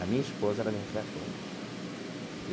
A minha esposa ela me resgatou.